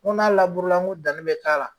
N go n'a n ko danni mi k'a la